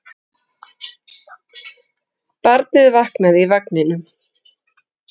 Barnið vaknaði í vagninum.